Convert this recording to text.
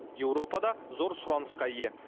еуропада зор сұранысқа ие